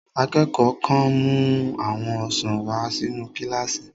Akẹ́kọ̀ọ́ kan mú àwọn ọsàn wà sínu kílásì